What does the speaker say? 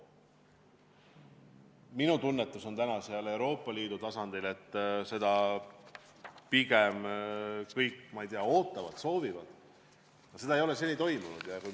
Minu tunnetus Euroopa Liidu tasandil on see, et seda kõik, ma ei tea, pigem ootavad, soovivad, aga seda ei ole seni toimunud.